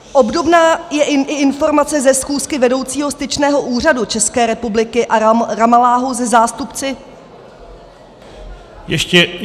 Obdobná je i informace ze schůzky vedoucího styčného úřadu České republiky v Ramalláhu se zástupci -